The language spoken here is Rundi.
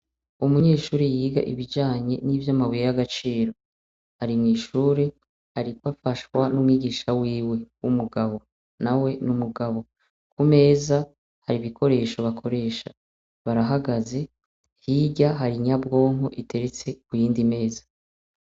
Umunyeshuri yiga ibijanye nivy'amabuye y'agaciro hari mw'ishure, ariko afashwa n'umwigisha wiwe w'umugabo na we n'umugabo ku meza hari ibikoresho bakoresha barahagaze hirya hari inyabwonko iteretse ku yindi meza.